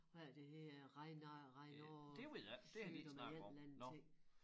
Hvad er det det hedder Regner Reynauds sygdom eller en eller anden ting